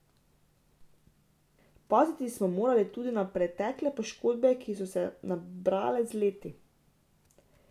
Paziti smo morali tudi na pretekle poškodbe, ki so se nabrale z leti.